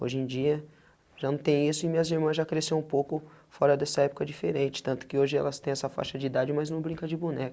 Hoje em dia, já não tem isso e minhas irmãs já cresceu um pouco fora dessa época diferente, tanto que hoje elas têm essa faixa de idade, mas não brincam de